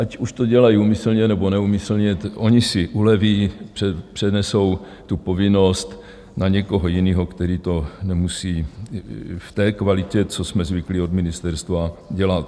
Ať už to dělají úmyslně, nebo neúmyslně, oni si uleví, přenesou tu povinnost na někoho jiného, který to nemusí v té kvalitě, co jsme zvyklí od ministerstva, dělat.